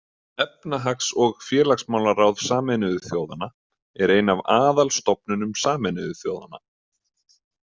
Efnahags- og félagsmálaráð Sameinuðu þjóðanna er ein af aðalstofnunum Sameinuðu þjóðanna.